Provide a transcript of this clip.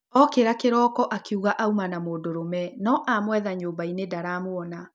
Ookĩra kĩroko akĩigua auma na mũndũrũme no amwetha nyũmba-inĩ ndaramuona